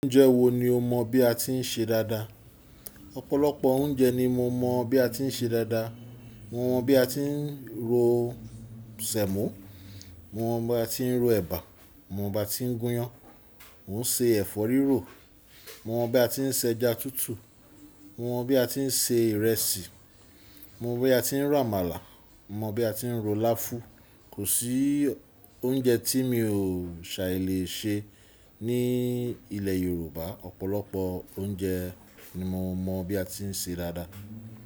Oúnjẹ wo ni o mọ bí a ti ń ṣe dáadáa? Ọ̀pọ̀lọpọ̀ oúnjẹ ni mo mọ bí a ti ń ṣe dáadáa. Mo mọ bí a ti ń ro sẹ̀mọ́, mo mọ bí a ti ń ro ẹ̀bà, mo mọ bí a ti ń gúnyán, mò ń ṣe ẹ̀fọ́ rírò, mo mọ bí a ti ń ṣe ẹja tútù, mo mọ bí a ti ń se ìrẹsì, mo mọ bí a ti ń ro àmàlà, mo mọ bí a ti ń ro láfún. Kò sí oúnjẹ tí mi ò sà lè ṣe. Ní ilẹ̀ Yorùbá, ọ̀pọ̀lọpọ̀ oúnjẹ ni mo mọ bí a ti ń ṣe dáadáa.